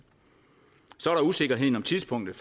så er der usikkerheden om tidspunktet